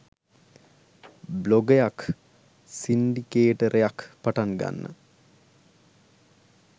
බ්ලොගයක් සින්ඩිකේටර්යක් පටන්ගන්න